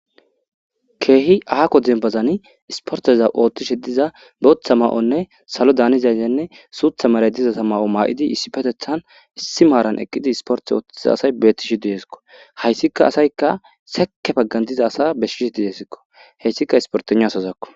keehi aako dembazani isporteza oothtishe diza booththa ma7onne salo daanizayzenne suutha maray dizata ma7o maa7idi issi petethan issi maaran eqqidi isporte oottiza asay betti shi didesikko hayssika asayka seke paggan diza asa beshsishi dideesikko heyssika isporteno asazakko